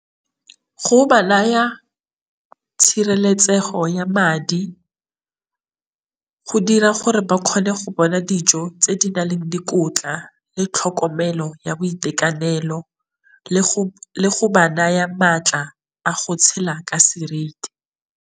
Go ba naya tshireletsego ya madi, go dira gore ba kgone go bona dijo tse di na leng dikotla le tlhokomelo ya boitekanelo, le go ba naya maatla a go tshela ka seriti.